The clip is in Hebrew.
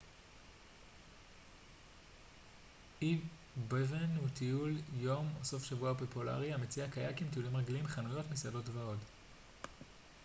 אי בוון הוא טיול יום או סוף שבוע פופולרי המציע קיאקים טיולים רגליים חנויות מסעדות ועוד